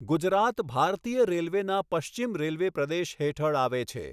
ગુજરાત ભારતીય રેલવેના પશ્ચિમ રેલવે પ્રદેશ હેઠળ આવે છે.